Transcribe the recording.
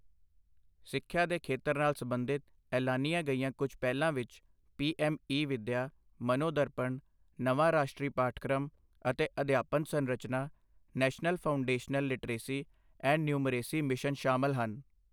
ਸਿੱਖਿਆ ਦੇ ਖੇਤਰ ਨਾਲ ਸਬੰਧਿਤ ਐਲਾਨੀਆਂ ਗਈਆਂ ਕੁੱਝ ਪਹਿਲਾਂ ਵਿੱਚ, ਪੀਐੱਮ ਈ ਵਿਦਯਾ, ਮਨੋ-ਦਰਪਣ, ਨਵਾਂ ਰਾਸ਼ਟਰੀ ਪਾਠਕ੍ਰਮ ਅਤੇ ਅਧਿਆਪਨ ਸੰਰਚਨਾ, National Foundational Literacy and Numeracy Mission ਸ਼ਾਮਿਲ ਹਨ।